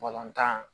tan